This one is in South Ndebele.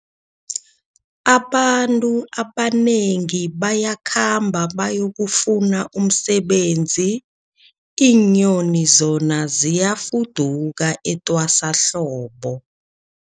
Abantu abanengi bayakhamba bayokufuna umsebenzi, iinyoni zona ziyafuduka etwasahlobo.